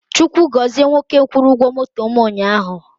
Chukwu gọzie nwoke kwụrụ ụgwọ moto mụ ụnyaahụ